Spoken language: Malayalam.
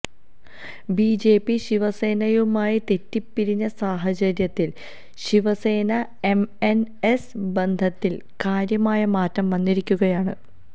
ബി ജെ പി ശിവസേനയുമായി തെറ്റിപ്പിരിഞ്ഞ സാഹചര്യത്തില് ശിവസേന എം എന് എസ് ബന്ധത്തില് കാര്യമായ മാറ്റം വന്നിരിക്കുകയാണ്